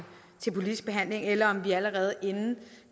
politisk behandling eller om vi allerede inden